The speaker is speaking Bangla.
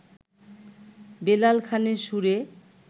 বেলাল খানের সুরে